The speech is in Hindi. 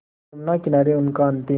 यमुना किनारे उनका अंतिम